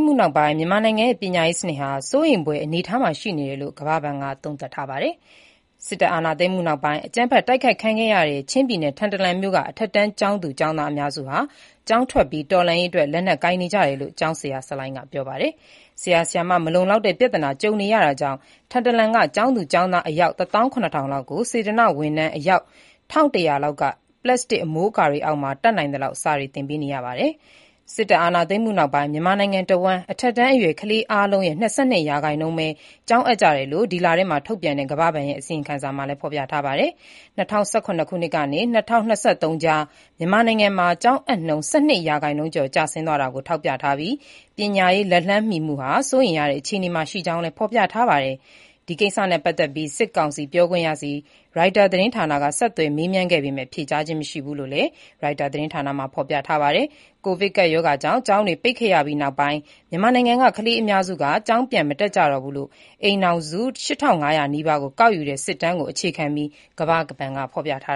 မှုနောက်ပိုင်း မြန်မာနိုင်ငံရဲ့ ပညာရေးစနစ် စိုးရိမ်ဖွယ်အနေအထားမှာ ရှိကြောင်း ကမ္ဘာ့ဘဏ်က သုံးသပ်ထားပါတယ်။ စစ်အာဏာသိမ်းမှုနောက်ပိုင်း အကြမ်းဖက်တိုက်ခိုက်ခံခဲ့ရတဲ့ ချင်းပြည်နယ် ထန်တလန်မြို့က အထက်တန်းကျောင်းသူကျောင်းသားအများစုဟာ ကျောင်းထွက်ပြီး တော်လှန်ရေးအတွက် လက်နက်ကိုင်နေကြတယ်လို့ ကျောင်းဆရာဆလိုင်းက ပြောပါတယ်။ ဆရာဆရာမ မလုံလောက်တဲ့ ပြဿနာနဲ့ ကြုံနေရတာကြောင့် ထန်တလန်က ကျောင်းသူကျောင်းသား အယောက် ၁၇၀၀၀ လောက်ကို စေတနာ့ဝန်ထမ်း အယောက် ၁၁၀၀ လောက်က ပလပ်စတစ်အမိုးအကာတွေအောက်မှာ တတ်နိုင်သလောက် စာသင်ပေးနေကြောင်းလည်း သူက ပြောပါတယ်။ စစ်အာဏာသိမ်းမှုနောက်ပိုင်း မြန်မာနိုင်ငံတဝှမ်း အထက်တန်းအရွယ် ကလေးအားလုံးရဲ့ ၂၂ ရာခိုင်နှုန်းပဲ ကျောင်းအပ်ကြတယ်လို့ ဒီလထဲမှာ ထုတ်ပြန်တဲ့ ကမ္ဘာ့ဘဏ်ရဲ့ အစီရင်ခံစာမှာ ဖော်ပြထားပါတယ်။ ၂၀၁၇ ကနေ ၂၀၂၃ ကြား မြန်မာနိုင်ငံမှာ ကျောင်းအပ်နှုန်း ၁၂ ရာခိုင်နှုန်းကျော် ကျဆင်းသွားတာကို ထောက်ပြထားပြီး ပညာရေးလက်လှမ်းမီမှု စိုးရိမ်ရတဲ့အခြေအနေမှာ ရှိကြောင်း ဖော်ပြထားပါတယ်။ ဒီကိစ္စနဲ့ပတ်သက်ပြီး စစ်ကောင်စီပြောခွင့်ရဆီ ရိုက်တာသတင်းဌာနက ဆက်သွယ်မေးမြန်းခဲ့ပေမယ့် ဖြေကြားခြင်းမရှိဘူးလို့ ရိုက်တာသတင်းမှာ ဖော်ပြထားပါတယ်။ ကိုဗစ်ကပ်ရောဂါကြောင့် ကျောင်းတွေ ပိတ်ခဲ့ရပြီးနောက်ပိုင်း မြန်မာနိုင်ငံက ကလေးအများစုက ကျောင်းပြန်မတက်ကြတော့ဘူးလို့ အိမ်ထောင်စု ၈၅၀၀ နီးပါးကို ကောက်ယူတဲ့ စစ်တမ်းကို အခြေခံပြီး ကမ္ဘာ့ဘဏ်က ဖော်ပြထား